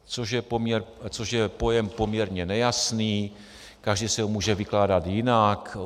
Což je pojem poměrně nejasný, každý si ho může vykládat jinak.